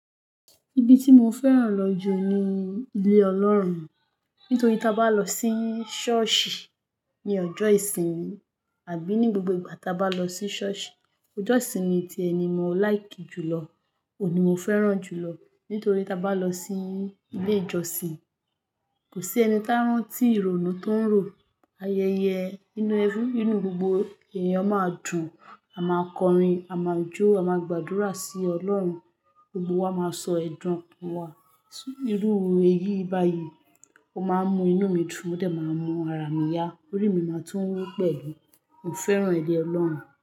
Ibi tí mo fẹ́ràn lọ jù ni ilé Ọlọ́run. Nítorí tí a bá lọ sí ṣọ́ọ̀ṣì ní ọjọ́ ìsinmi àbí ní gbogbo ìgbà ta bá lọ sí ṣọ́ọ̀ṣì, ojó ìsinmi tí ẹni mo like jùlọ, òní mo fẹ́ràn jùlọ nítorí tí a bá lọ sí ilé ìjọsìn, kò sí ẹni tá rántí ìrònú tó ń rò, ayẹyẹ inú ẹbí, inú gbogbo èèyàn máa dùn, a máa kọrin, a máa jó, a máa gbàdúrà sí Ọlọ́run, gbogbo wa máa sọ ẹ̀dùn wa. Irú eyii báyìí, ó máa ń mu inú mi dùn, ó dẹ̀ máa ń mu ara mi yá, orí mi máa tún wú pẹ̀lú. Mo fẹ́ràn ilé Ọlọ́run.